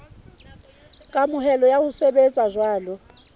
kamohelo ya ho sebetsa jwalo